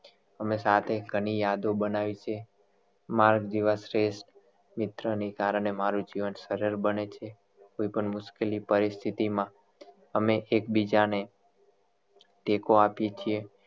અમે સાથે ઘણી યાદો બનાવી છીએ મારા જેવા શ્રેષ્ઠ મિત્ર ની કારણે મારુ જીવન સરળ બને છે કોઇ પણ મુશકેલી પરિસ્થિતિ માં અમે એક બીજા ને ટેકો આપીએ છીએ